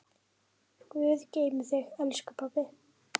Guð geymi þig, elsku pabbi.